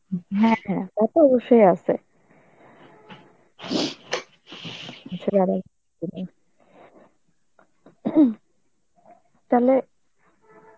হম হ্যাঁ হ্যাঁ, তা তো অবশ্যই আসে. তাহলে